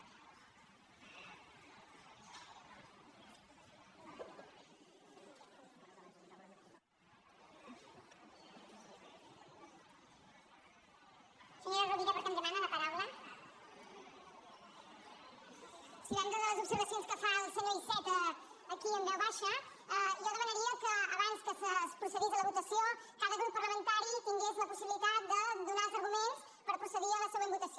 sí davant de les observacions que fa el senyor iceta aquí en veu baixa jo demanaria que abans que es procedís a la votació cada grup parlamentari tingués la possibilitat de donar els arguments per procedir a la següent votació